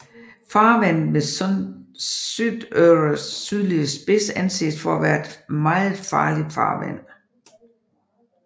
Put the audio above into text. Farvandet ved Suðuroys sydlige spids anses for at være et meget farligt farvand